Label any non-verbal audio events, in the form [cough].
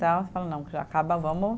[unintelligible] Falei, não, já acaba, vamos.